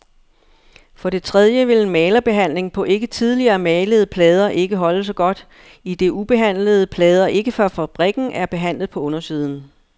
For det tredje vil en malerbehandling på ikke tidligere malede plader ikke holde så godt, idet ubehandlede plader ikke fra fabrikken er behandlet på undersiden.